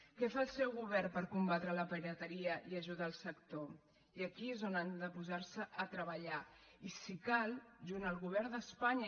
què fa el seu govern per combatre la pirateria i ajudar el sector i aquí és on han de posar se a treballar i si cal junt amb el govern d’espanya